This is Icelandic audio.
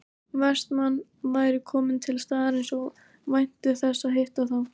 Vestmann væri kominn til staðarins og vænti þess að hitta þá